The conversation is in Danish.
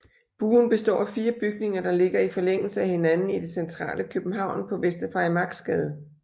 Buen består af fire bygninger der ligger i forlængelse af hinanden i det centrale København på Vester Farimagsgade